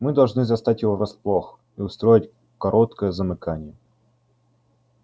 мы должны застать его врасплох и устроить короткое замыкание